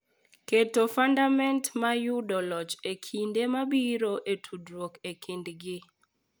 Keto fundament mar yudo loch e kinde mabiro e tudruok e kind ji.